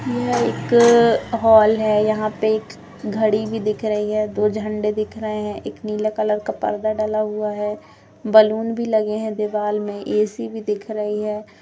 यह एक हॉल है यहाँ पे एक घडी भी दिख रही है दो झंडे दिख रहे है एक नीले कलर का पर्दा डला है बलून भी लगे हुए है दीवाल में ऐसी भी दिख रही है।